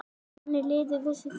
Þannig liðu þessi þrjú ár.